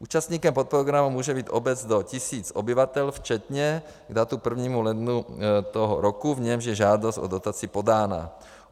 Účastníkem podprogramu může být obec do tisíce obyvatel včetně k datu 1. ledna toho roku, v němž je žádost o dotaci podána.